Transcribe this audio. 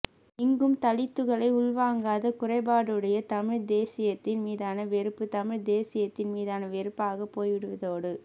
இங்கும் தலித்துகளை உள்வாங்காத குறைபாடுடைய தமிழ்த் தேசியத்தின் மீதான வெறுப்பு தமிழ்த்தேசியத்தின் மீதான வெறுப்பாகப் போய்விடுவதோடு